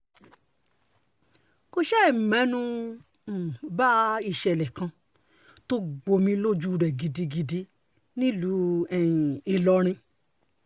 kò ṣàì mẹ́nu um ba ìṣẹ̀lẹ̀ kan tó gbomi lójú rẹ̀ gidigidi nílùú um ìlọrin